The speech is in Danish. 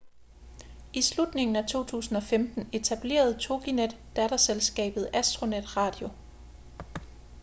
i slutningen af 2015 etablerede toginet datterselskabet astronet radio